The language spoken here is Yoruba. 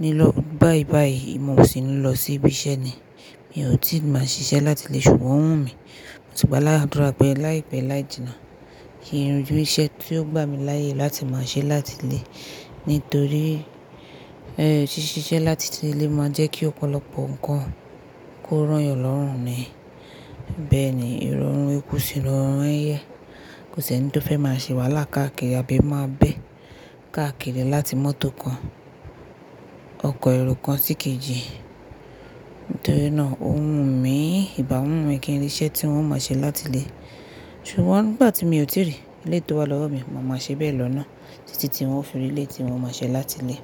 Ni lọ báibáyìí, mo sì ń lọ sí ibi iṣẹ́ ni. Mi ò tíì máa ṣiṣẹ́ láti ilé ṣùgbọ́n ó wù mí. Ṣùgbọ́n ládùrá pẹ láìpẹ́ láìjìnà kí n ri iṣẹ́ tí ó gbà mí láyè láti máa ṣẹ́ láti ilé. Nítorí ẹéh ṣíṣe iṣẹ́ láti ilé máa ń jẹ́ kí ọ̀pọ̀lọpọ̀ ǹkan kó rán yàn lọ́rùn ni. Bẹ́ẹ̀ ni ìrọ̀rùn ikú sì ní rọrùn ẹ̀yẹ. Kò sí ẹni tó fẹ́ máa ṣèwálá kàákiri àbí máa bé kàákiri láti mọ́tò kan, ọkọ̀ èrò kan sí kejì. Nítorí náà ó wù mí, ìbá wu mi kí n rí iṣẹ́ tí n ó máa ṣe láti ilé. Ṣùgbọ́n nígbà tí mi ò tí rí eleyi tó wà lọ́wọ̀ mi, màá máa ṣe bẹ́ẹ̀ lọ náà títí tí wọn ó fi mí lé tí mo máa ṣe láti ilé.